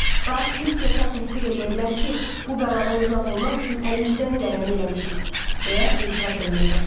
Bax, mister Kap təsdiq eləyə bilər ki, bu bəladan uzaq olmaq üçün əlimizdən gələni eləmişik, deyə etiraz eləməyə başladı.